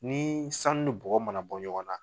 Ni sanu ni bɔgɔ ma na bɔ ɲɔgɔn na